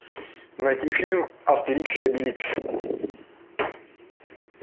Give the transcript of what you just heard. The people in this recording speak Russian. найти фильм астерикс и обеликс